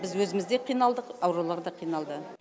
біз өзіміз де қиналдық аурулар да қиналды